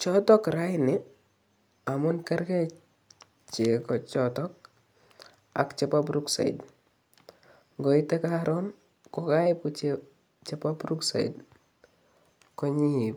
choton raani amun kergee cheko choton ak chebo brookside koite koron koibu chebo brookside koinyeeib.